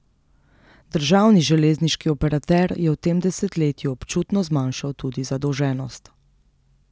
Državni železniški operater je v tem desetletju občutno zmanjšal tudi zadolženost.